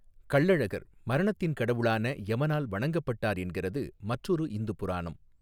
கள்ளழகர் மரணத்தின் கடவுளான யமனால் வணங்கப்பட்டார் என்கிறது மற்றொரு இந்து புராணம்.